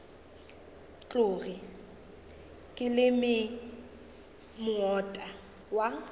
tloge ke leme moota wa